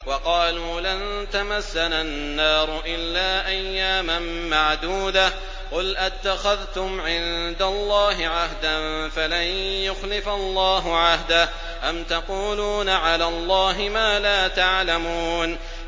وَقَالُوا لَن تَمَسَّنَا النَّارُ إِلَّا أَيَّامًا مَّعْدُودَةً ۚ قُلْ أَتَّخَذْتُمْ عِندَ اللَّهِ عَهْدًا فَلَن يُخْلِفَ اللَّهُ عَهْدَهُ ۖ أَمْ تَقُولُونَ عَلَى اللَّهِ مَا لَا تَعْلَمُونَ